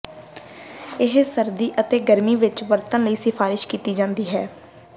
ਇਹ ਸਰਦੀ ਅਤੇ ਗਰਮੀ ਵਿੱਚ ਵਰਤਣ ਲਈ ਸਿਫਾਰਸ਼ ਕੀਤੀ ਜਾਦੀ ਹੈ